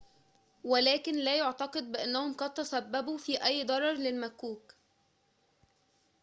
ولكن لا يُعتقد بأنهم قد تسبّبوا في أي ضرر للمكّوك